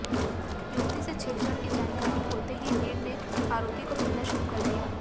युवती से छेड़छाड़ की जानकारी होते ही भीड़ ने आरोपी को पीटना शुरू कर दिया